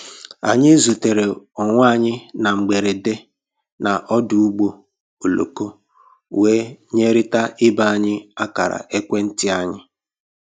Anyị zutere onwe anyị na mgberede na ọdụ ụgbọ oloko wee nyerịta ibe anyị akara ekwentị anyị